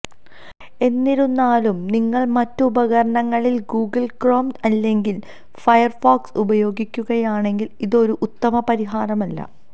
എന്നിരുന്നാലും നിങ്ങള് മറ്റു ഉപകരണങ്ങളില് ഗൂഗിള് ക്രോം അല്ലെങ്കില് ഫയര്ഫോക്സ് ഉപയോഗിക്കുകയാണെങ്കില് ഇതൊരു ഉത്തമ പരിഹാരമല്ല